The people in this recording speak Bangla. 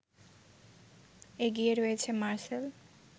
এগিয়ে রয়েছে মারসেল